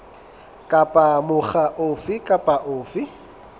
kapa mokga ofe kapa ofe